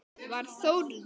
Var Þórður